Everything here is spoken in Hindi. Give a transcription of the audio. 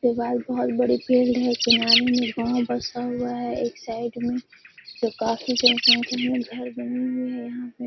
उसके बाद बहोत बड़ी फीलड है। किनारे में गांव बसा हुआ है। एक साइड में जो काफी जनसंख्या में घर बनी हुई है यहाँ पे --